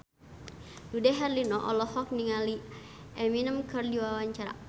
Dude Herlino olohok ningali Eminem keur diwawancara